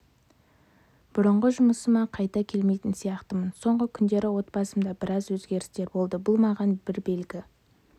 бұрынғы жұмысыма қайта келмейтін сияқтымын соңғы күндері отбасымда біраз өзгерістер болды бұл маған бір белгі